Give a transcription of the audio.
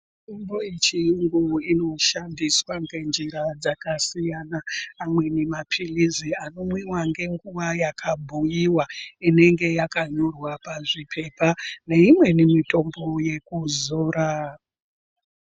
Mitombo yechiyungu inoshandiswa ngenjira dzakasiyana, amweni maphilizi, anomwiwa ngenguva yakabhuiwa, inenge yakanyorwa pazviphepha, neimweni mitombo yekuzora.